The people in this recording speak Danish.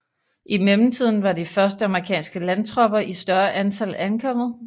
I mellemtiden var de første amerikanske landtropper i større antal ankommet